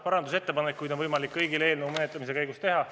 Parandusettepanekuid on võimalik kõigil eelnõu menetlemise käigus teha.